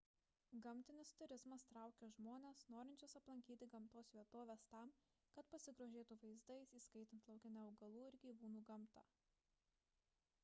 gamtinis turizmas traukia žmones norinčius aplankyti gamtos vietoves tam kad pasigrožėtų vaizdais įskaitant laukinę augalų ir gyvūnų gamtą